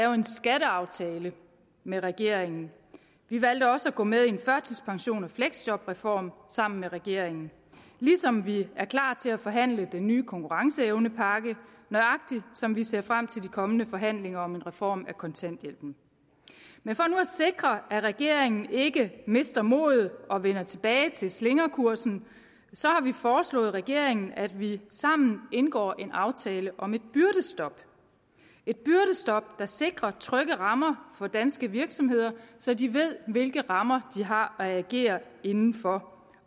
en skatteaftale med regeringen vi valgte også at gå med i en førtidspensions og fleksjobreform sammen med regeringen ligesom vi er klar til at forhandle den nye konkurrenceevnepakke nøjagtig som vi ser frem til de kommende forhandlinger om en reform af kontanthjælpen men for nu at sikre at regeringen ikke mister modet og vender tilbage til slingrekursen har vi foreslået regeringen at vi sammen indgår en aftale om et byrdestop der sikrer trygge rammer for danske virksomheder så de ved hvilke rammer de har at agere inden for